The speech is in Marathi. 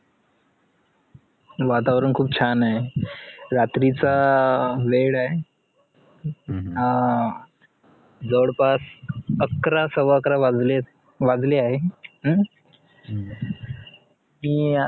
वातावरण खूप छान ए रात्रीचा अं वेळ ए अं जवडपास अकरा सव्वाअकरा वाजलेत वाजले आहे हम्म मी अं